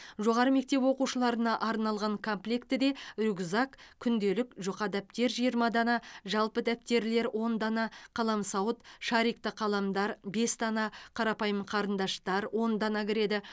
жоғары мектеп оқушыларына арналған комплектіде рюкзак күнделік жұқа дәптер жиырма дана жалпы дәптерлер он дана қаламсауыт шарикті қаламдар бес дана қарапайым қарындаштар он дана кіреді